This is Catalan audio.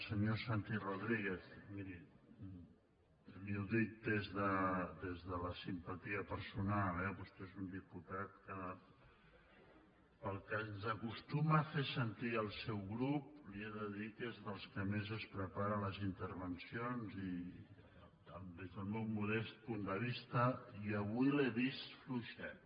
senyor santi rodríguez miri li ho dic des de la simpatia personal eh vostè és un diputat que pel que ens acostuma a fer sentir el seu grup li he de dir que és dels que més es prepara les intervencions des del meu modest punt de vista i avui l’he vist fluixet